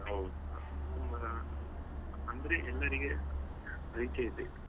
ಹ ಹೌದು ಅಂದ್ರೆ ಎಲ್ಲರಿಗೆ ಪರಿಚಯ ಇದೆ.